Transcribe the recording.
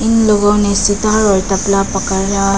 इन लोगों ने सितार और तबला पकड़--